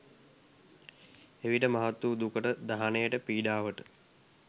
එවිට මහත් වූ දුකට, දහනයට, පීඩාවට